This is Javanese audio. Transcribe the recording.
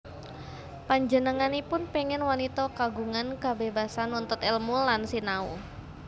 Panjenenganipun péngin wanita kagungan kabébasan nuntut èlmu lan sinau